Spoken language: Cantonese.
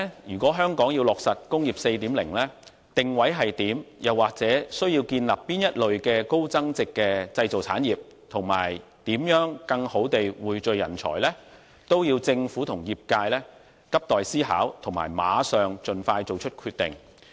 如果香港要落實"工業 4.0"， 則其定位如何，又或需要建立哪類高增值的製造產業，以及如何更好地匯聚人才，這些都急待政府和業界思考，並盡快作出決定。